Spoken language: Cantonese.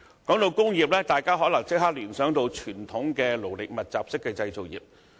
談到工業，大家可能立即聯想到傳統勞力密集式的製造業。